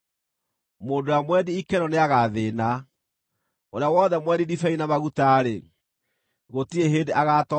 Mũndũ ũrĩa mwendi ikeno nĩagathĩĩna; ũrĩa wothe mwendi ndibei na maguta-rĩ, gũtirĩ hĩndĩ agaatonga.